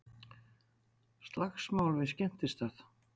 Slagsmál við skemmtistað